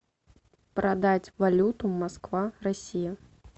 продать валюту москва россия